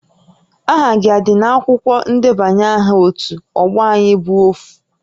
Aha gị a dị n'akwụkwọ ndebanye aha ótú ọgbọ Ayị bụ Ofu?